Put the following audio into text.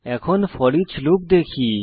এখন foreach loop দেখি